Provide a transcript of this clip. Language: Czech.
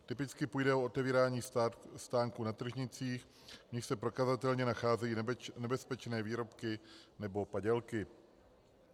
Typicky půjde o otevírání stánků na tržnicích, v nichž se prokazatelně nacházejí nebezpečné výrobky nebo padělky.